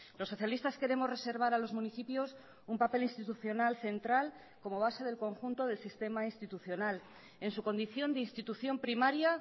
los socialistas queremos reservar a los municipios un papel institucional central como base del conjunto del sistema institucional en su condición de institución primaria